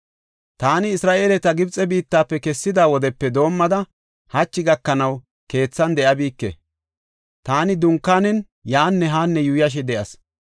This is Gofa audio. Taani Isra7eeleta Gibxe biittafe kessida wodepe doomada hachi gakanaw keethan de7abike; taani dunkaanen yaanne haanne yuuyashe de7as.